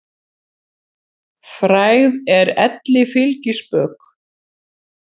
Frægð er elli fylgispök.